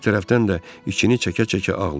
Bir tərəfdən də içini çəkə-çəkə ağlayırdı.